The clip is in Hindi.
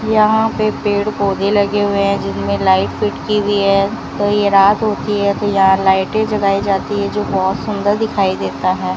यहां पे पेड़-पौधे लगे हुए हैं जिनमें लाइट फिट की हुई है तो ये रात होती है तो यहां पर लाइटें जलाई जाती है जो बहुत सुंदर दिखाई देता है।